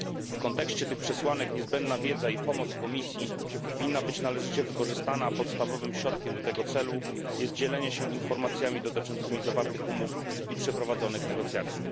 W kontekście tych przesłanek niezbędna wiedza i pomoc Komisji powinna być należycie wykorzystana, a podstawowym środkiem do tego celu jest dzielenie się informacjami dotyczącymi zawartych umów i przeprowadzonych negocjacji.